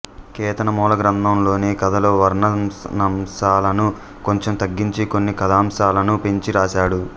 కేతన మూలగ్రంథం లోని కథల వర్ణనాంశాలను కొంచెం తగ్గించి కొన్ని కథాంశాలను పెంచి రాశాడు